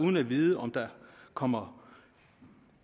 uden at vide om der kommer